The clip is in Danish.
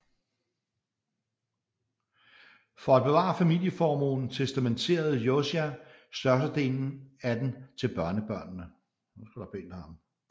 For at bevare familieformuen testamenterede Josiah største delen af den til børnebørnene